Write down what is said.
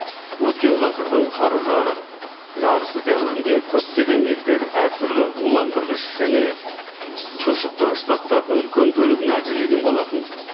өткен ғасырдың қару жарақ жарысы дәуірінде көптеген елдер әртүрлі уландырғыш және тұншықтырғыш заттардың үлкен бөлігін әзірлеген болатын